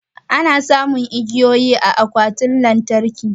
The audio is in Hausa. Ana samun igiyoyi a akwatin lantarki.